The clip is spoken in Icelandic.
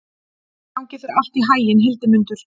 Gangi þér allt í haginn, Hildimundur.